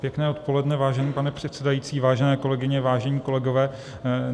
Pěkné odpoledne, vážený pane předsedající, vážené kolegyně, vážení kolegové.